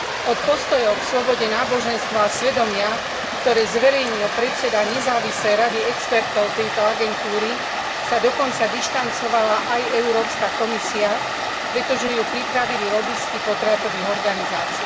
Od postojov k slobode náboženstva a svedomia, ktoré zverejnil predseda nezávislej rady expertov tejto agentúry, sa dokonca dištancovala aj Európska komisia, pretože ju pripravili lobisti potratových organizácií.